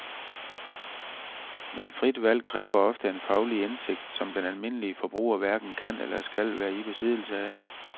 Men frit valg kræver ofte en faglig indsigt, som den almindelige forbruger hverken kan eller skal være i besiddelse af.